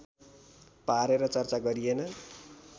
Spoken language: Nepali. पारेर चर्चा गरिएन